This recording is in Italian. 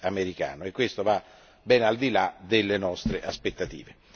americano, e questo va ben al di là delle nostre aspettative.